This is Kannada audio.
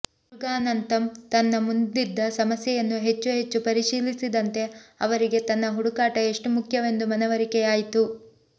ಮುರುಗಾನಂತಮ್ ತನ್ನ ಮುಂದಿದ್ದ ಸಮಸ್ಯೆಯನ್ನು ಹೆಚ್ಚು ಹೆಚ್ಚು ಪರಿಶೀಲಿಸಿದಂತೆ ಅವರಿಗೆ ತನ್ನ ಹುಡುಕಾಟ ಎಷ್ಟು ಮುಖ್ಯವೆಂದು ಮನವರಿಕೆಯಾಯಿತು